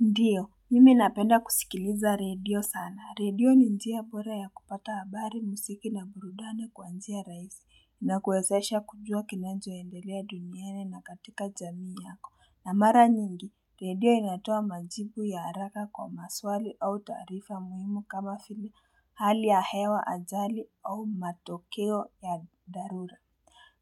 Ndiyo, mimi napenda kusikiliza redio sana. Redio ni njia bora ya kupata habari muziki na burudani kwanjia rahisi na kuwezesha kujua kinanjo endelea duniani na katika jamii yako. Na mara nyingi, redio inatoa majibu ya haraka kwa maswali au taarifa muhimu kama vile hali ya hewa ajali au matokeo ya dharura.